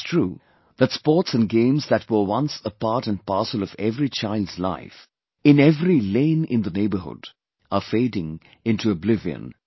It is true that sports & games that were once a part & parcel of every child's life, in every lane in the neighbourhood, are fading into oblivion